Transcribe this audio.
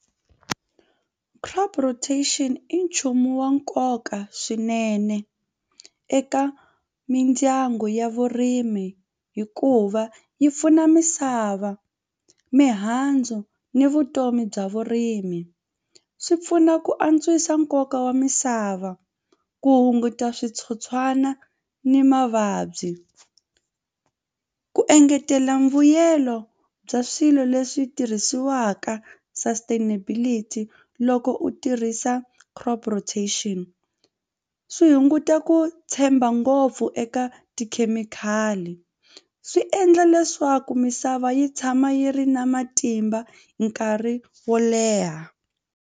Crop rotation i nchumu wa nkoka swinene eka mindyangu ya vurimi hikuva yi pfuna misava mihandzu ni vutomi bya vurimi. Swi pfuna ku antswisa nkoka wa misava ku hunguta switsotswana ni mavabyi ku engetela mbuyelo bya swilo leswi tirhisiwaka sustainability loko u tirhisa crop rotation swi hunguta ku tshemba ngopfu eka tikhemikhali swi endla leswaku misava yi tshama yi ri na matimba nkarhi wo leha.